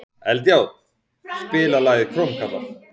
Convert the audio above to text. Eldjárn, spilaðu lagið „Krómkallar“.